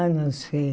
Ah, não sei.